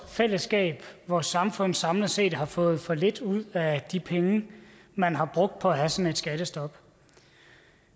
fællesskab og vores samfund samlet set har fået for lidt ud af de penge man har brugt på at have sådan et skattestop